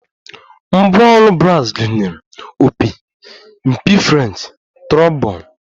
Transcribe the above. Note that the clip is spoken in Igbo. Ngwá ọrụ bras gụnyere opi, mpi French, trombon